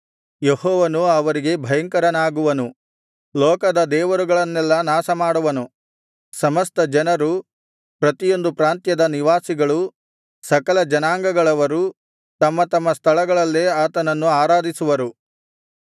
ಯೆಹೋವನು ಅವರಿಗೆ ಭಯಂಕರನಾಗುವನು ಲೋಕದ ದೇವರುಗಳನ್ನೆಲ್ಲಾ ನಾಶಮಾಡುವನು ಸಮಸ್ತ ಜನರು ಪ್ರತಿಯೊಂದು ಪ್ರಾಂತ್ಯದ ನಿವಾಸಿಗಳು ಸಕಲ ಜನಾಂಗಗಳವರು ತಮ್ಮ ತಮ್ಮ ಸ್ಥಳಗಳಲ್ಲೇ ಆತನನ್ನು ಆರಾಧಿಸುವರು